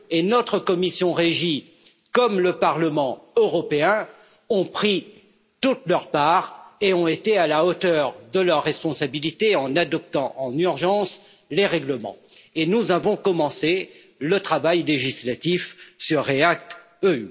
Notre commission du développement régional comme le Parlement européen ont pris toute leur part et ont été à la hauteur de leurs responsabilités en adoptant en urgence les règlements, et nous avons commencé le travail législatif sur REACT EU.